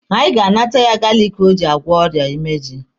Anyị ga-anata ya galiki o ji agwọ ọrịa imeju